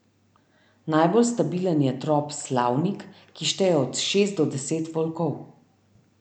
Najbolj stabilen je trop Slavnik, ki šteje od šest do deset volkov.